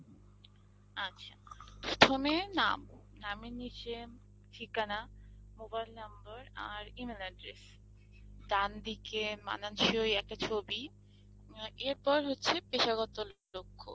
আচ্ছা, প্রথমে নাম, নামের নিচে, ঠিকানা, mobile number আর E-mail address. ডান দিকে মানানসই একটা ছবি অ্যাঁ এর পর হচ্ছে পেশাগত লক্ষ্য